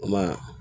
Kuma